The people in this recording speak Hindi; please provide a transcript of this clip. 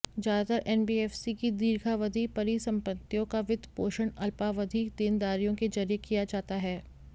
ज्यादातर एनबीएफसी की दीर्घावधि परिसंपत्तियों का वित्त पोषण अल्पावधि देनदारियों के जरिये किया जाता है